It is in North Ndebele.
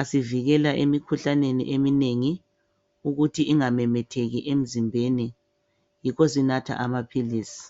asivekela emkhuhlaneni ukuthi ingamemetheki emzimbeni yikho sinatha amaphiliz g